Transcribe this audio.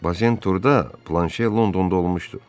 Bazen Turda, Planşe Londonda olmuşdu.